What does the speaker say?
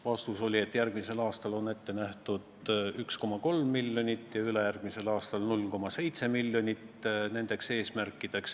Vastus oli, et järgmisel aastal on sellisteks tegevusteks ette nähtud 1,3 miljonit ja ülejärgmisel aastal 0,7 miljonit eurot.